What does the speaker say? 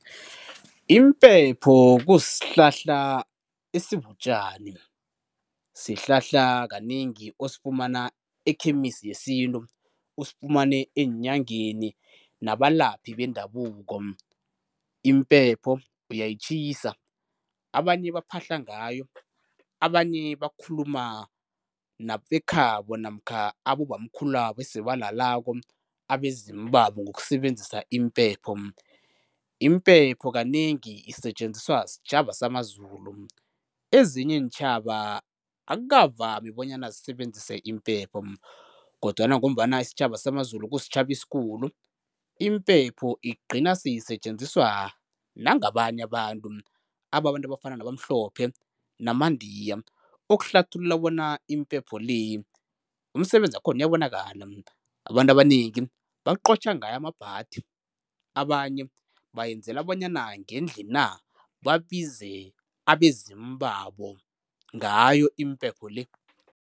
Impepho kusihlahla esibutjani, sihlahla kanengi osifumana ekhemisi yesintu, usifumane eenyangeni nabalaphi bendabuko. Impepho uyayitjhisa, abanye baphahla ngayo, abanye bakhuluma nabekhabo namkha abobamkhulu labo esebalalako, abezimu babo ngokusebenzisa impepho. Impepho kanengi isetjenziswa sitjhaba samaZulu. Ezinye iintjhaba akukavami bonyana zisebenzise impepho kodwana ngombana isitjhaba samaZulu kusitjhaba esikhulu impepho igcina seyisetjenziswa nangabanye abantu, abantu abafana nabamhlophe namandiya okuhlathulula bona impepho le umsebenzi wakhona uyabonakala. Abantu abanengi baqotjha ngayo amabhadi abanye bayenzela bona ngendlina babize abezimu babo ngayo impepho le.